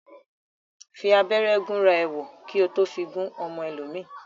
Fi abẹ́rẹ́ gúnra ẹ wò, kí ó tó fi gún ọmọ ẹlòmíì